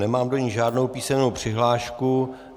Nemám do ní žádnou písemnou přihlášku.